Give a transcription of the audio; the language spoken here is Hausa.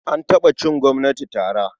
An taɓa cin gwamnati tara.